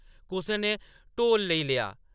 कुसै ने ढोल लेई लेआ ।